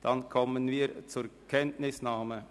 – Dann kommen wir zur Kenntnisnahme.